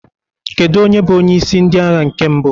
Kedu onye bụ onyeisi ndị agha nke mbụ?